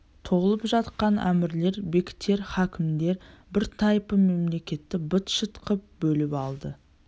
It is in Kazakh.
толып жатқан әмірлер бектер хакімдер бір тайпы мемлекетті быт-шыт қып бөліп алды